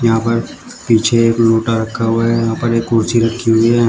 यहां पर पीछे एक लोटा रखा हुआ है। यहां पर एक कुर्सी रही हुई है।